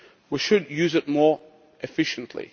We should use it more efficiently.